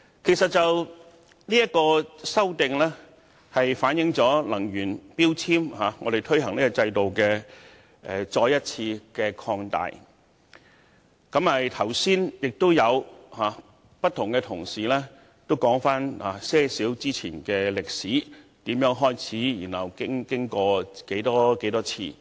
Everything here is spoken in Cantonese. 其實，《修訂令》是將能源標籤制度的範圍進一步擴大，剛才也有同事提及這個制度的發展歷史，從開始實施至各個階段的發展。